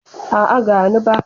A'a, gani ba.